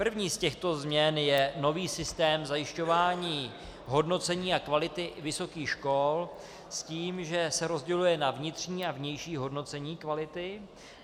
První z těchto změn je nový systém zajišťování hodnocení a kvality vysokých škol, s tím že se rozděluje na vnitřní a vnější hodnocení kvality.